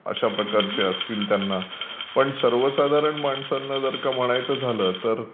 अशा प्रकारचे असतील त्यांना पण सर्वसाधारण माणसांबद्दल जर का म्हणायचं झालं तर